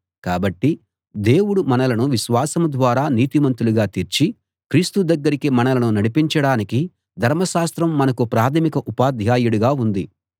కాబట్టి దేవుడు మనలను విశ్వాసం ద్వారా నీతిమంతులుగా తీర్చి క్రీస్తు దగ్గరికి మనలను నడిపించడానికి ధర్మశాస్త్రం మనకు ప్రాథమిక ఉపాధ్యాయుడిగా ఉంది